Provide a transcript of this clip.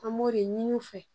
An b'o de ɲini u fɛ